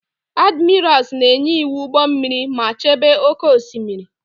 Admirals na-enye iwu ụgbọ mmiri ma chebe oke osimiri.